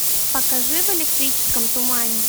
покажи в электрическом тумане